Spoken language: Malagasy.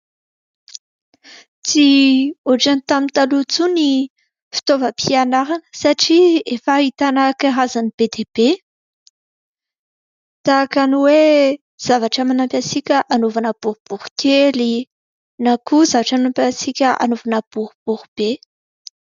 Tsy ohatran'ny tamin'ny taloha intsony ny fitaovam-pianarana satria efa ahitana karazany be dia be tahaka ny hoe zavatra manampy antsika anaovana boribory kely, na koa zavatra manampy antsika anaovana boribory be.